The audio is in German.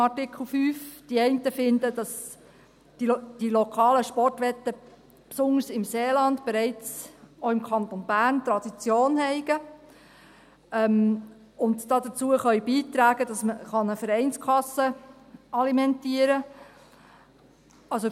Die einen finden, dass die lokalen Sportwetten auch im Kanton Bern, besonders im Seeland, bereits Tradition sind und dazu beitragen können, dass man eine Vereinskasse alimentieren kann.